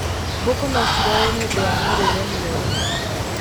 Mbũkũ nocirware nĩũndũ wa mĩrĩire mĩũru.